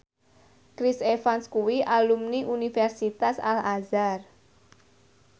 Chris Evans kuwi alumni Universitas Al Azhar